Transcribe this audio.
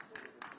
Bütün qolçu.